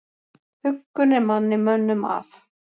Huggun er manni mönnum að.